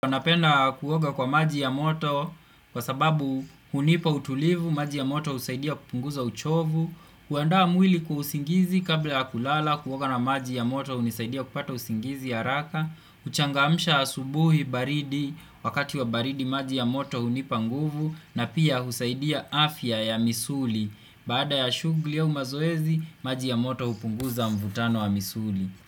Napenda kuoga kwa maji ya moto, kwa sababu hunipa utulivu, maji ya moto usaidia kupunguza uchovu, kuandaa mwili kwa usingizi kabla ya kulala, kuoga na maji ya moto unisaidia kupata usingizi haraka, huchangamsha asubuhi baridi, wakati wa baridi maji ya moto hunipa nguvu, na pia husaidia afya ya misuli, baada ya shugli au mazoezi, maji ya moto upunguza mvutano wa misuli.